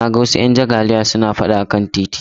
Na ga wasu 'yan jagaliya suna fada a kan titi